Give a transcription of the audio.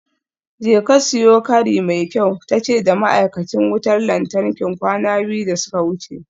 Jeka siyo kari mai kyau tace da ma'aikacin wutar lantarki kwana biyu da suka wuce.